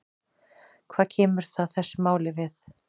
Hvað kemur það þessu máli við?